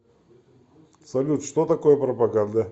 салют что такое пропаганда